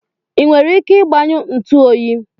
i nwere ike igbanyụ ntu oyi?